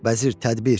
Vəzir, tədbir.